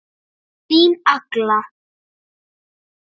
Þín Agla.